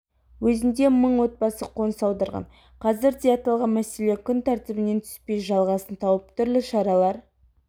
өзінде мың отбасы қоныс аударған қазірде аталған мәселе күн тәртібінен түспей жалғасын тауып түрлі шаралар